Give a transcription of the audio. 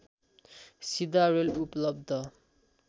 सीधा रेल उपलब्ध